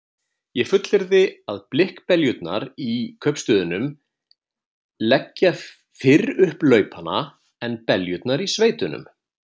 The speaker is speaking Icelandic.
Ég fullyrði að blikkbeljurnar í kaupstöðunum leggja fyrr upp laupana en beljurnar í sveitunum.